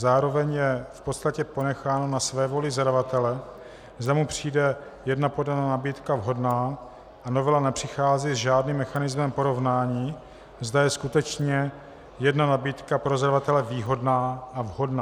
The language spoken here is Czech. Zároveň je v podstatě ponecháno na svévoli zadavatele, zda mu přijde jedna podaná nabídka vhodná, a novela nepřichází s žádným mechanismem porovnání, zda je skutečně jedna nabídka pro zadavatele výhodná a vhodná.